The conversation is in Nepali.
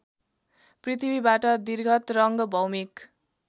पृथ्वीबाट दीर्घतरङ्ग भौमिक